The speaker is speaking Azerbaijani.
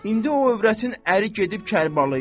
indi o övrətin əri gedib Kərbalaya.